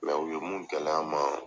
u ye mun gɛlɛya ma